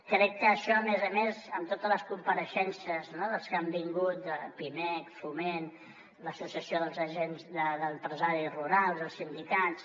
crec que això a més a més amb totes les compareixences dels que han vingut pimec foment l’associació d’empresaris rurals els sindicats